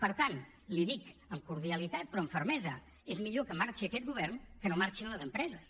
per tant l’hi dic amb cordialitat però amb fermesa és millor que marxi aquest govern que no que marxin les empreses